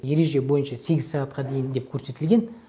ереже бойынша сегіз сағатқа дейін деп көрсетілген